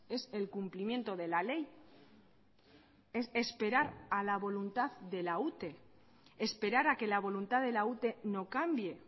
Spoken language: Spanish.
es el cumplimiento de la ley es esperar a la voluntad de la ute esperar a que la voluntad de la ute no cambie